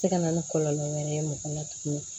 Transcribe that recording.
Tɛ se ka na ni kɔlɔlɔ wɛrɛ ye mɔgɔ la tuguni